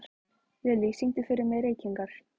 Lilly, syngdu fyrir mig „Reykingar“.